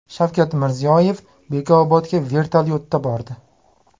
Shavkat Mirziyoyev Bekobodga vertolyotda bordi .